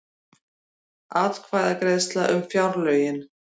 Atkvæðagreiðsla um fjárlögin